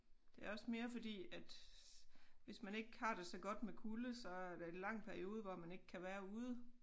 Det er også mere fordi at hvis man ikke har det så godt med kulde så er det lang periode hvor man ikke kan være ude